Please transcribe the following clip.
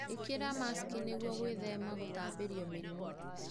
ĩkĩra maski nĩguo gwĩthema na gũtambĩrio mĩrimũ.